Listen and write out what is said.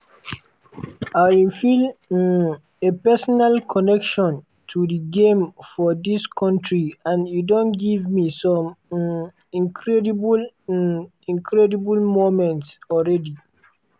"i feel um a personal connection to di game for dis kontri and e don give me some um incredible um incredible moments already.